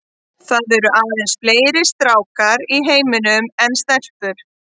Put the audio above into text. Það eru aðeins fleiri stákar í heiminum en stelpur.